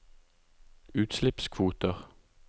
utslippskvoter